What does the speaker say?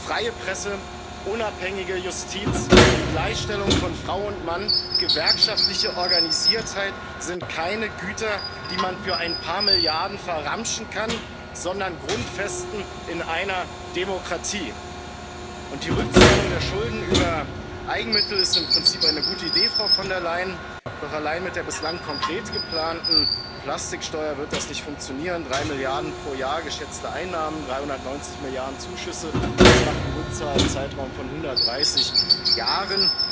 Freie Presse, eine unabhängige Justiz, die Gleichstellung von Frau und Mann, gewerkschaftliche Organisiertheit sind keine Güter, die man für ein paar Milliarden verramschen kann, sondern Grundfesten in einer Demokratie. Die Rückzahlung der Schulden über Eigenmittel ist im Prinzip eine gute Idee, Frau von der Leyen, doch allein mit der bislang konkret geplanten Plastiksteuer wird das nicht funktionieren 3 Milliarden pro Jahr geschätzte Einnahmen, 390 Milliarden Zuschüsse, das macht einen Rückzahlzeitraum von 130 Jahren.